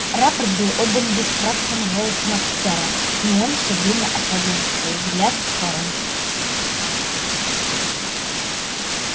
рапорт был отдан бесстрастным голосом офицера но он все время отводил свой взгляд в сторону